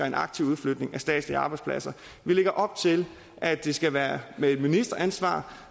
en aktiv udflytning af statslige arbejdspladser vi lægger op til at det skal være med et ministeransvar